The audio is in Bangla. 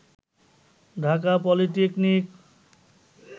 ঢাকা পলিটেকনিক